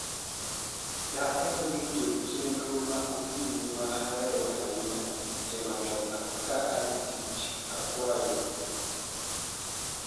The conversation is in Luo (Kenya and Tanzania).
daher winjo chenro ma okinyi maahero ahiny ei matokaa kadhi tik akwayo